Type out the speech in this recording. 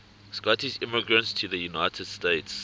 scottish immigrants to the united states